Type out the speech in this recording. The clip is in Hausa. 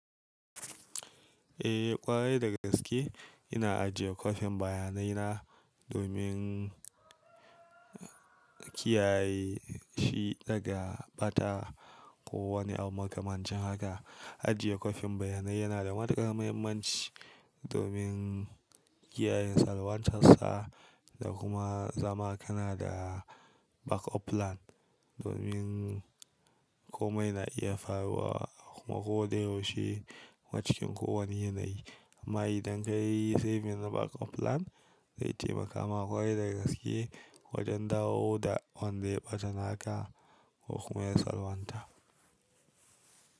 Eh, ƙwarai da gaske ina ajiye kwafin bayanai na domin, kiyaye shi daga ɓata, ko wani abu kamar cin haka. Ajiye kwafin bayanai yana da matukar muhimmanci, domin kiyayen salwantarsa, da kuma zama kana da back up plan. Domin komai na iya faruwa, kuma ko dai yaushe wa cikin ku wani yanayi. Amma idan ka yi saving na back up plan, zai taimaka ma ƙwarai da gaske, wajen dawo da wanda ya ɓata naka ko kuma ya salwanta.